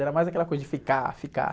Era mais aquela coisa de ficar, ficar.